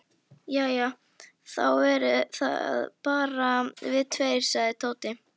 Jæja, þá eru það bara við tveir sagði Tóti.